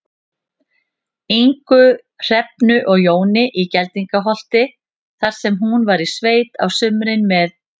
Ingu, Hrefnu og Jóni í Geldingaholti, þar sem hún var í sveit á sumrin með